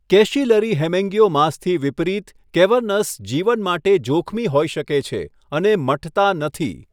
Capillary હેમેન્ગીયોમાસથી વિપરીત, cavernous જીવન માટે જોખમી હોઈ શકે છે અને મટતા નથી.